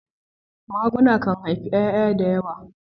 maguna kan haifi yaya da yawa.